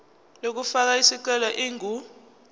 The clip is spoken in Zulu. yokufaka isicelo ingu